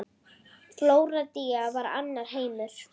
Flórída var annar heimur.